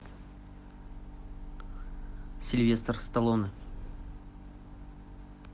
сильвестр сталлоне